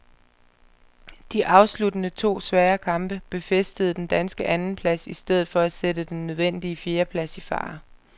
De afsluttende to svære kamp befæstede den danske andenplads i stedet for at sætte den nødvendige fjerdeplads i fare.